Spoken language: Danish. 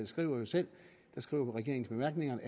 skriver jo selv i bemærkningerne